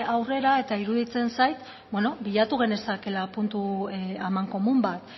aurrera eta iruditzen zait bilatu genezakeela puntu amankomun bat